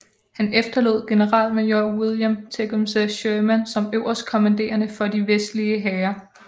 Han efterlod generalmajor William Tecumseh Sherman som øverstkommanderende for de vestlige hære